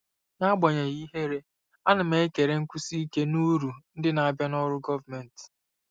N'agbanyeghị ihere, ana m ekele nkwụsi ike na uru ndị na-abịa na ọrụ gọọmentị.